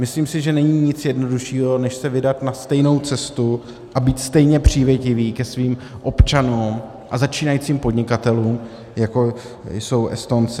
Myslím si, že není nic jednoduššího, než se vydat na stejnou cestu a být stejně přívětiví ke svým občanům a začínajícím podnikatelům, jako jsou Estonci.